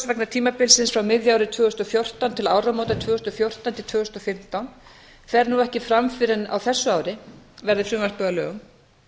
vegna tímabilsins frá miðju ári tvö þúsund og fjórtán til áramóta tvö þúsund og fjórtán fimmtán fer nú ekki fram fyrr en á þessu ári verði frumvarpið að lögum